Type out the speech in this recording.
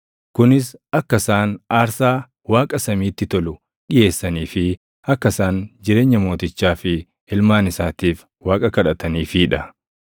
kunis akka isaan aarsaa Waaqa samiitti tolu dhiʼeessanii fi akka isaan jireenya mootichaa fi ilmaan isaatiif Waaqa kadhataniifii dha.